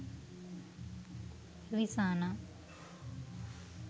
rizana